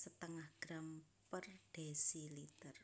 setengah gram per desiliter